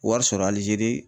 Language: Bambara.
Wari sɔrɔ Alizeri